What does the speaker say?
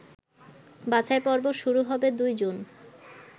বাছাইপর্ব শুরু হবে ২ জুন